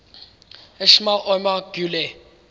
ismail omar guelleh